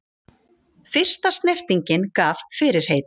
Fyrsta snertingin gaf fyrirheit